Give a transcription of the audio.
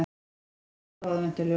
Frostrósir og aðventuljós